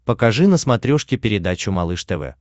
покажи на смотрешке передачу малыш тв